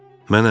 Mənəm!